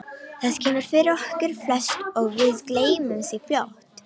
Það kemur fyrir okkur flest og við gleymum því fljótt.